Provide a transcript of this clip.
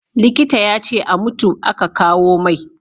Likita ya ce a mutu a ka kawo mai